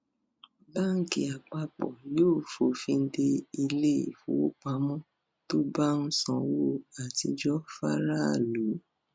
báńkì àpapọ yóò fòfin dé ilé ìfowópamọ tó bá ń sanwó àtijọ faraàlú